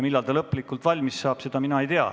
Millal see protokoll lõplikult valmis saab, seda mina ei tea.